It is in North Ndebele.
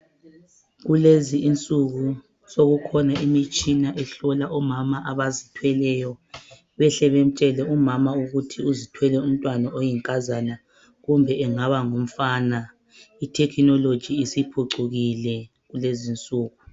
Kulezi insuku sokukhona imitshina ehlola omama abazithweleyo behle bemtshele umama ukuthi uzithwele umntwana oyinkazana kumbe engaba ngumfana i thekhinoloji isiphucukile kulezi insuku.